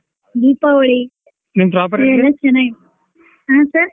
ದೀಪಾವಳಿ ಚೆನ್ನಾಗಿದೆ ಹಾ sir .